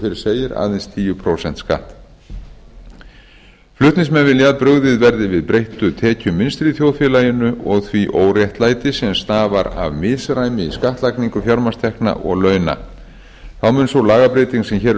fyrr segir aðeins tíu prósent skatt flutningsmenn vilja að brugðist verði við breyttu tekjumunstri í þjóðfélaginu og því óréttlæti sem stafar af misræmi í skattlagningu fjármagnstekna og launa þá mun sú lagabreyting sem hér er